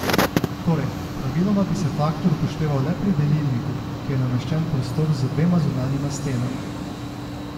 Torej, praviloma bi se faktor upošteval le pri delilniku, ki je nameščen v prostoru z dvema zunanjima stenama.